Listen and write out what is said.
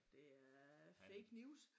Det er fake news